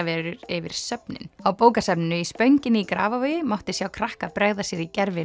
yfir söfnin á bókasafninu í Spönginni í Grafarvogi mátti sjá krakka bregða sér í gervi